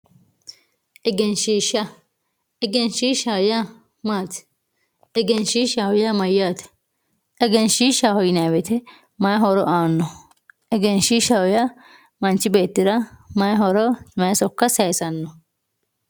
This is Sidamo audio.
Egenshisja egenshishaho yaa mati egenshishaho yaa mayate egenshishaho yinemo woyite mayi horo aano egenshishaho yaa mnchi beetira mayihoro mayi soka sayisano.